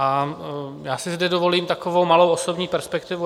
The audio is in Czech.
A já si zde dovolím takovou malou osobní perspektivu.